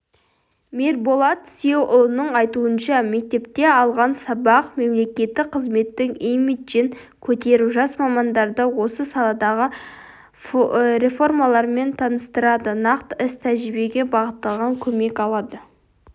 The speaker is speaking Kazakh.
мирболат сүйеуұлының айтуынша мектепте алған сабақ мемлекеттік қызметтің имиджін көтеріп жас мамандарды осы саладағы реформалармен таныстырады нақты іс-тәжірибеге бағытталған көмек алады